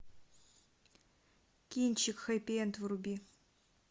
кинчик хэппи энд вруби